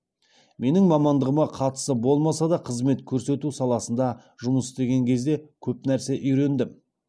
менің мамандығыма қатысы болмаса да қызмет көрсету саласында жұмыс істеген кезде көп нәрсе үйрендім